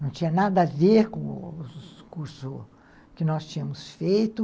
Não tinha nada a ver com o curso que nós tínhamos feito.